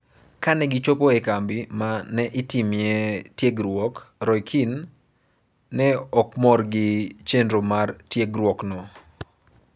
Kane gichopo e kambi ma ne itimee tiegruok, Roy Keane ne ok mor gi chenro mar tiegruokno.